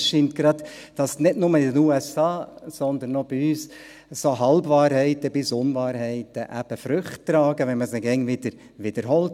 Es scheint gerade so, als trügen nicht nur in den USA, sondern auch bei uns solche Halbwahrheiten bis Unwahrheiten eben Früchte, wenn man sie ständig wiederholt.